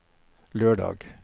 lørdag